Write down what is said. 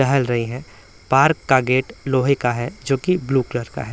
टहल रही है पार्क का गेट लोहे का है जो कि ब्लू कलर का है।